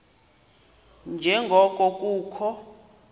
nje ngoko kukho